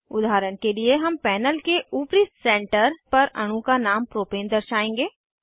उदाहरण के लिए हम पैनल के ऊपरी सेंटर पर अणु का नाम प्रोपेन दर्शाएंगे